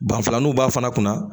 Danfalanw b'a fana kunna